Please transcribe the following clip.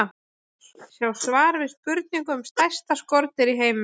Sjá svar við spurningu um stærsta skordýr í heimi.